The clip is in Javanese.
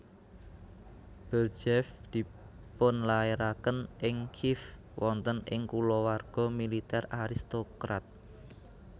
Berdyaev dipunlairaken ing Kiev wonten ing kulawarga militer aristokrat